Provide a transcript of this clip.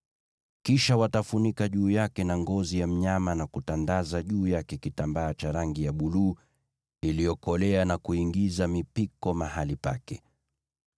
Kisha watafunika juu yake na ngozi za pomboo, na kutandaza juu yake kitambaa cha rangi ya buluu iliyokolea na kuingiza mipiko mahali pake.